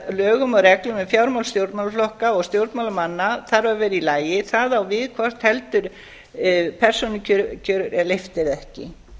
lögum og reglum við fjármál stjórnmálaflokka og stjórnmálamanna þarf að vera í lagi það á við hvort heldur persónukjör er leyft eða ekki